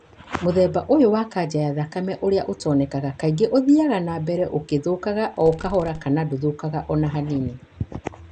Mũthemba ũyũ wa kanca ya thakame ũrĩa ũtonekaga kaingĩ, ũthiaga na mbere ũkĩthũkaga o kahora kana ndũthũkaga o na hanini.